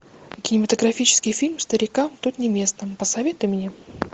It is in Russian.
кинематографический фильм старикам тут не место посоветуй мне